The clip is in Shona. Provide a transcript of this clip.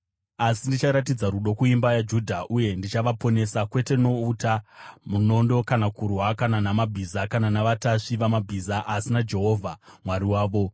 Asi ndicharatidza rudo kuimba yaJudha; uye ndichavaponesa, kwete nouta, munondo kana kurwa, kana namabhiza kana navatasvi vamabhiza, asi naJehovha Mwari wavo.”